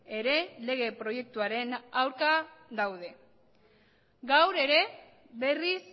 ere lege proiektuaren aurka gaude gaur ere berriz